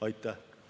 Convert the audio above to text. Aitäh!